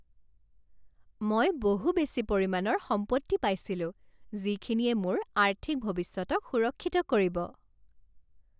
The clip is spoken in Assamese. মই বহু বেছি পৰিমাণৰ সম্পত্তি পাইছিলোঁ যিখিনিয়ে মোৰ আৰ্থিক ভৱিষ্যতক সুৰক্ষিত কৰিব।